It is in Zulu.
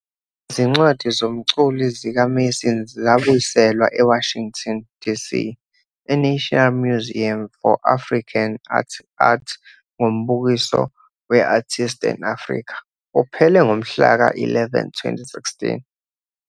Izincwadi zomculi zikaMason zabuyiselwa eWashington DC eNational Museum for African Art ngombukiso we- 'Artists' and Africa 'uphele ngomhlaka 11 2016.'